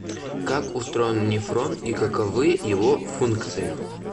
как устроен нефрон и каковы его функции